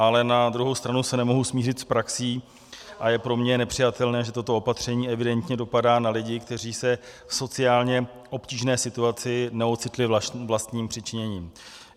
Ale na druhou stranu se nemohu smířit s praxí a je pro mě nepřijatelné, že toto opatření evidentně dopadá na lidi, kteří se v sociálně obtížné situaci neocitli vlastním přičiněním.